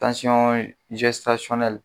Tansyɔn